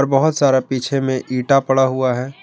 बहुत सारा पीछे में ईंटा पड़ा हुआ है।